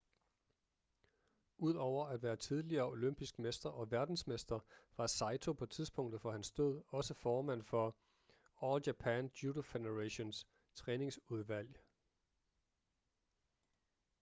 udover at være tidligere olympisk mester og verdensmester var saito på tidspunktet for hans død også formand for all japan judo federations træningsudvalg